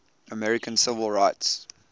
american civil rights